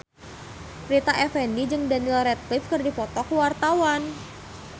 Rita Effendy jeung Daniel Radcliffe keur dipoto ku wartawan